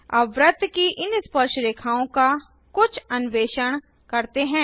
अब वृत्त की इन स्पर्शरेखाओं का कुछ अन्वेषण करते हैं